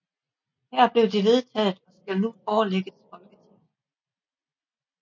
Her blev det vedtaget og skal nu forelægges Folketinget